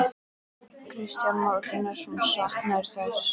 Kristján Már Unnarsson: Saknarðu þess?